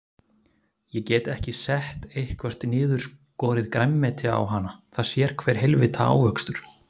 Ég get ekki sett eitthvert niðurskorið grænmeti á hana, það sér hver heilvita ávöxtur.